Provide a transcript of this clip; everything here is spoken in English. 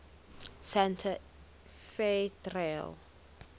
santa fe trail